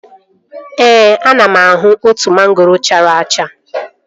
Ee, ana m ahụ otu mangoro chara acha